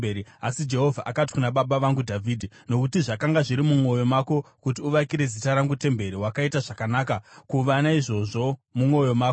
Asi Jehovha akati kuna baba vangu Dhavhidhi, ‘Nokuti zvakanga zviri mumwoyo mako kuti uvakire Zita rangu temberi, wakaita zvakanaka kuva naizvozvo mumwoyo mako.